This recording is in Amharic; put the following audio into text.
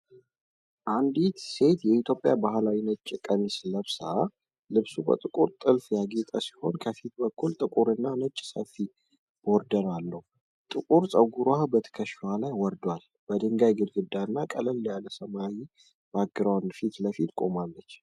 አንዲት ሴት የኢትዮጵያ ባህላዊ ነጭ ቀሚስ ለብሳለች። ልብሱ በጥቁር ጥልፍ ያጌጠ ሲሆን ከፊት በኩል ጥቁርና ነጭ ሰፊ ቦርደር አለው። ጥቁር ፀጉሯ በትከሻዋ ላይ ወርዷል። በድንጋይ ግድግዳና ቀለል ያለ ሰማያዊ ባክግራውንድ ፊት ለፊት ቆማለች።